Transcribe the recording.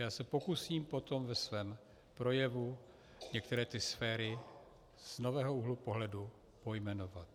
Já se pokusím potom ve svém projevu některé ty sféry z nového úhlu pohledu pojmenovat.